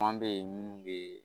bɛ ye minnu bɛ